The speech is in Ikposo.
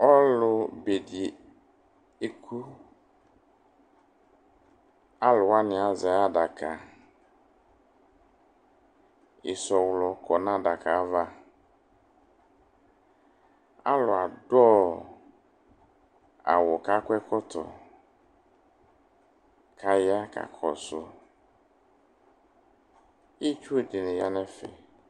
Ɔlʋbe dɩ eku Alʋ wanɩ azɛ ayʋ adaka Ɩsɔɣlɔ kɔ nʋ adaka yɛ ava Alʋ adʋ awʋ kʋ akɔ ɛkɔtɔ kʋ aya kakɔsʋ Itsu dɩnɩ ya nʋ ɛfɛ